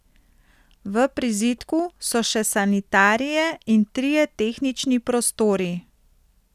V prizidku so še sanitarije in trije tehnični prostori.